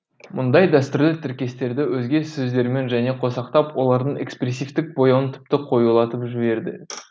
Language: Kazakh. мұндай дәстүрлі тіркестерді өзге сөздермен және қосақтап олардың экспрессивтік бояуын тіпті қоюлатып жіберді